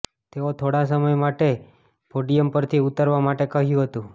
તેઓ થોડા સમય માટે પોડિયમ પરથી ઉતરવા માટે કહ્યું હતું